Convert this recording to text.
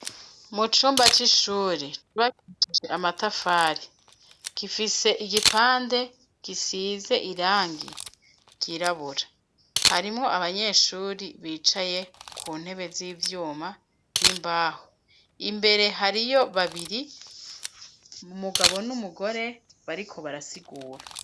Mu cumba c'ishuri cubakishije amatafari, gifise igipande gisize irangi ryirabura, harimwo abanyeshuri bicaye ku ntebe z'ivyuma n'imbaho, imbere hariyo babiri, umugabo n'umugore bariko barasigura.